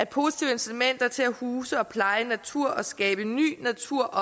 positive incitamenter til at huse og pleje natur og skabe ny natur